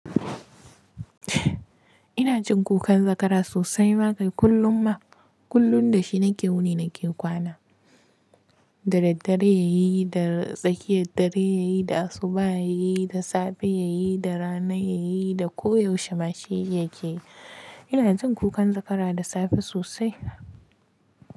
Ina jin kukan zakara sosai ma kai kullum ma. Kullum da shi nake wuni nake kwana. Da daddare ya yi, da tsakiyar dare ya yi, da asubah ya yi, da safe ya yi, da rana ya yi, da koyaushe ma shi yi yake yi. Ina jin kukan zakara da safe sosai.